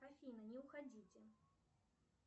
афина не уходите